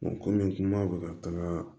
kɔmi kuma bɛ ka taga